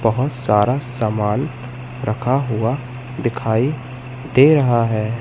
बहोत सारा सामान रखा हुआ दिखाई दे रहा है।